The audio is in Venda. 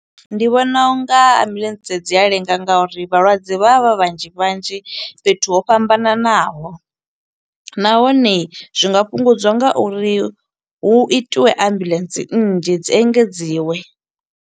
Ndi vhona unga ambuḽentse dzi a lenga nga uri vhalwadze vha vha vha vhanzhi vhanzhi, fhethu ho fhambananaho. Nahone zwi nga fhungudziwa nga uri hu itiwe ambuḽentse nnzhi dzi engedziwe.